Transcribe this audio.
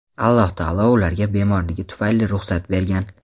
Alloh taolo ularga bemorligi tufayli ruxsat bergan.